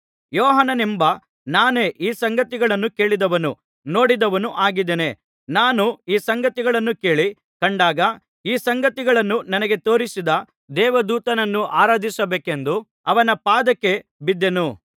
ಯೋಹಾನನೆಂಬ ನಾನೇ ಈ ಸಂಗತಿಗಳನ್ನು ಕೇಳಿದವನೂ ನೋಡಿದವನೂ ಆಗಿದ್ದೇನೆ ನಾನು ಈ ಸಂಗತಿಗಳನ್ನು ಕೇಳಿ ಕಂಡಾಗ ಈ ಸಂಗತಿಗಳನ್ನು ನನಗೆ ತೋರಿಸಿದ ದೇವದೂತನನ್ನು ಆರಾಧಿಸಬೇಕೆಂದು ಅವನ ಪಾದಕ್ಕೆ ಬಿದ್ದೆನು